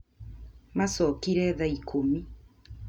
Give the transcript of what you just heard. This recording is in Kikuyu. Maacokire thaa ikũmi